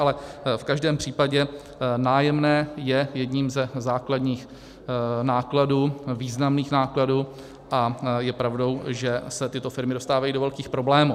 Ale v každém případě nájemné je jedním ze základních nákladů, významných nákladů, a je pravdou, že se tyto firmy dostávají do velkých problémů.